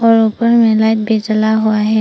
और ऊपर मे लाइट भी जला हुआ है।